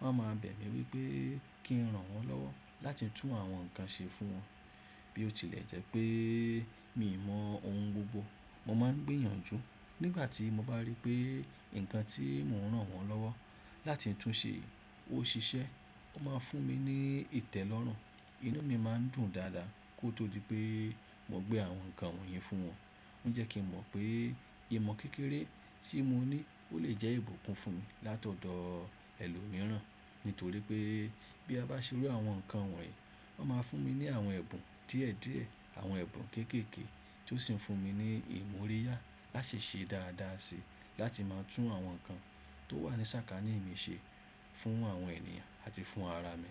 wọ́n a ma bẹ̀ mí wípé kí n rán wọ́n lọ́wọ́ láti tún àwọn nǹkan ṣe fún wọn. Bí ó tilẹ̀ jẹ́ pé mi mọ ohun gbogbo, mo máa ń gbìyànjú. Nígbà tí mo bá rí pé nǹkan tí mò ń rán wọ́n lọ́wọ́ láti tún ṣe ó ṣiṣẹ́, wọ́n máa ń fún mi ní ìtẹ́lọ́rùn, inú mi má ń dùn dáadáa kó tó dí pé mo gbé àwọn nǹkan wọ̀nyí fún wọn. Ó ń jẹ́ kí mọ̀ pé ìmọ̀ kékeré tí mo ní ó lè jẹ́ ìbùkún fún mi látọ̀dọ̀ ẹlòmíràn nítorí pé bí a bá ṣe irú àwọn nǹkan wọ̀nyí, wọ́n máa fún mi ní àwọn ẹ̀bùn díẹ̀díẹ̀, àwọn ẹ̀bùn kéékèèké tó sì ń fún mi ní ìmúríyá láti ṣe dáadáa sí i láti máa tún àwọn nǹkan tó wà ní sákání mi ṣe fún àwọn ènìyàn àti fún ara mi.